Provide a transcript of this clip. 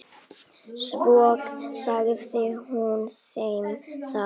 Svo sagði hún þeim að